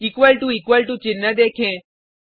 equal to equal to चिन्ह देखें